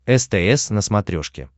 стс на смотрешке